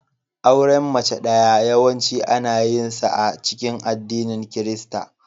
Auren mace ɗaya yawanci ana yinsa a cikin addinin Kirista.